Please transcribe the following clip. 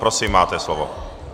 Prosím, máte slovo.